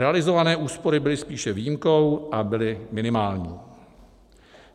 Realizované úspory byly spíše výjimkou a byly minimální.